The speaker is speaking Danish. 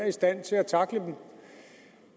i stand til at tackle dem